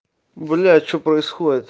блядь что происходит